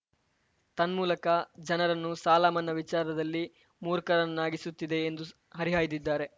ತನ್ಮೂಲಕ ಜನರನ್ನು ಸಾಲ ಮನ್ನಾ ವಿಚಾರದಲ್ಲಿ ಮೂರ್ಖರನ್ನಾಗಿಸುತ್ತಿದೆ ಎಂದು ಹರಿಹಾಯ್ದಿದ್ಧಾರೆ